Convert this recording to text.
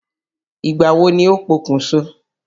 Ìgbà wo ni ó pokùn so?